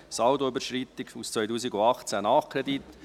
Saldoüberschreitung 2018, Nachkredit».